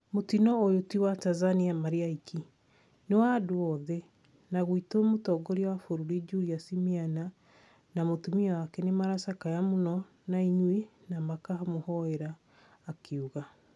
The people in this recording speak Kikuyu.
Mũtino ũyũ ti wa Tanzania marĩ aiki , nĩ wa andũ othe, na gwitũ mũtongoria wa bũrũri Julius Miana na mũtumia wake nĩmaracakaya mũno na inyuĩ na makamũhoera" akiuga